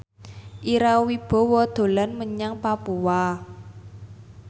Ira Wibowo dolan menyang Papua